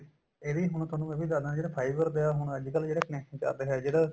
ਇਹ ਵੀ ਹੁਣ ਤੁਹਾਨੂੰ ਇਹ ਵੀ ਦਸਦਾ ਜਿਹੜਾ fiber ਪਿਆ ਹੁਣ ਅੱਜਕਲ ਜਿਹੜਾ ਇਹ connect ਚੱਲ ਰਿਹਾ ਜਿਹੜਾ